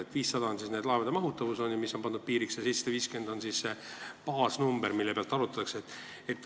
See 500 on laevade mahutavuse piir, mis on neile pandud, ja 750 on baasnumber, mille pealt makse arvutatakse.